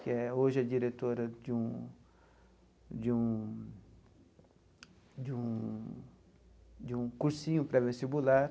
que é hoje é diretora de um de um de um de um cursinho pré-vestibular.